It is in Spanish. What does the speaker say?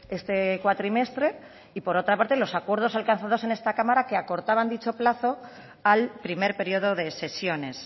este cuatrimestre y por otra parte los acuerdos alcanzados en esta cámara que acortaban dicho plazo al primer periodo de sesiones